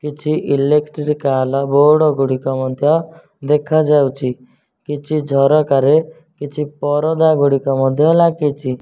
କିଛି electrical board ଗୁଡ଼ିକ ମଧ୍ୟ ଦେଖାଯାଉଚି କିଛି ଝରକାରେ କିଛି ପରଦା ଗୁଡ଼ିକ ମଧ୍ୟ ଲାଗିଚି।